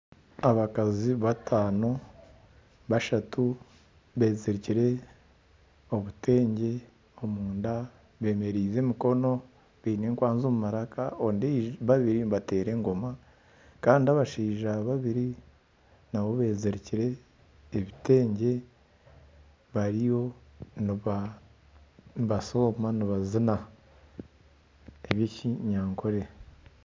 Abakazi bataano, bashatu bezirikire obutengye omunda bemereize emikono. Beine enkwanzi omumaraka. Babiri nibateera engoma kandi abashaija babiri nabo bezirikire ebitengye bariyo nibasooma nibazina ebyekinyankole.